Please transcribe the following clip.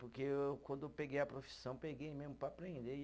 Porque quando eu peguei a profissão, peguei mesmo para aprender.